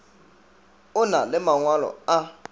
o na le mangwalo a